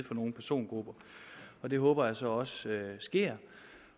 for nogle persongrupper det håber jeg så også sker